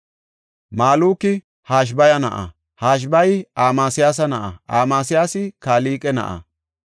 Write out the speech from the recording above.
Maluki Hashabaya na7a; Hashabaya Amasiyaasa na7a; Amasiyaasi Kalqe na7a;